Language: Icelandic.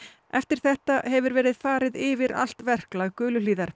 eftir þetta hefur verið farið yfir allt verklag